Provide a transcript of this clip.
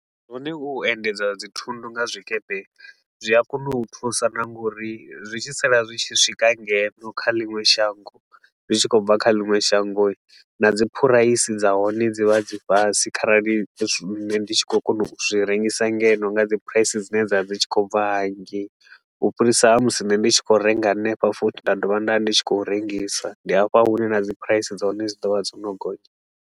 Hone hu u endedza dzithundu nga zwikepe hii, zwi a kona u thusa na nga uri zwi tshi sala zwi tshi swika ngeno kha ḽiṅwe shango, zwi tshi khou bva kha ḽiṅwe shango, na dzi phuraisi dza hone dzi vha dzi fhasi kharali nṋe ndi tshi khou kona u zwi rengisa ngeno nga dzi phuraisi dzine dza vha dzi tshi khou bva hangei. U fhirisa ha musi nne ndi tshi khou renga hanefha futhi nda dovha nda vha ndi tshi khou rengisa, ndi hafha hune na dzi phuraisi dza hone dzi do vha dzo no gonya.